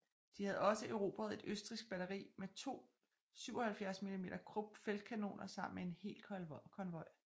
De havde også erobret et østrigsk batteri med to 77mm Krupp feltkanoner sammen med en hel konvoj